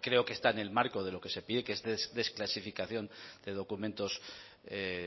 creo que está en el marco de lo que se pide que desclasificación de documentos